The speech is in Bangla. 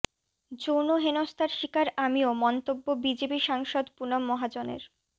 যৌন হেনস্তার শিকার আমিও মন্তব্য বিজেপি সাংসদ পুনম মহাজনের